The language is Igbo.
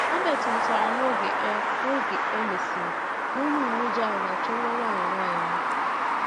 Herbert mụtara n’oge e n’oge e mesịrị na onye uweojii ahụ na-achọ nwa nwanyị nwaanyị ahụ.